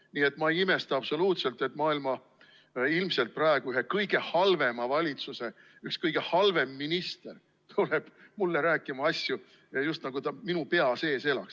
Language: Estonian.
Nii et ma ei imesta absoluutselt, et maailma ilmselt praegu ühe kõige halvema valitsuse üks kõige halvem minister tuleb mulle rääkima asju, just nagu ta elaks minu pea sees.